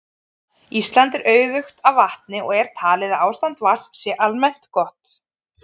Ísland er auðugt af vatni og er talið að ástand vatns sé almennt gott.